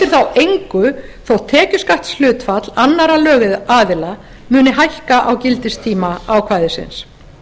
þá engu þótt tekjuskattshlutfall annarra lögaðila muni hækka á gildistíma ákvæðisins